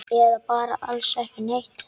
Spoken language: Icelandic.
Eða bara alls ekki neitt?